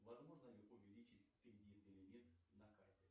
возможно ли увеличить кредитный лимит на карте